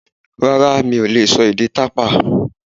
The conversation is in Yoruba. Rárá, mi ò lè sọ èdè tàpá